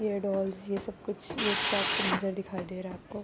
یہ دوللس یہ سب کچھ یہ ایک شاپ کا منظر دکھائی دے رہا ہے۔ آپکو--